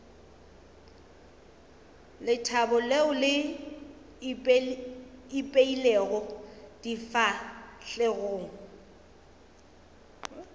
lethabo leo le ipeilego difahlegong